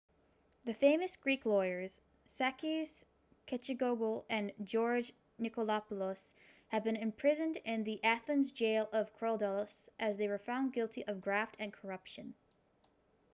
the famous greek lawyers sakis kechagioglou and george nikolakopoulos have been imprisoned in the athens' jail of korydallus as they were found guilty of graft and corruption